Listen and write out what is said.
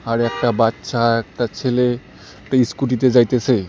আর একটা বাচ্চা একটা ছেলে একটা ইস্কুটিতে যাইতেসে।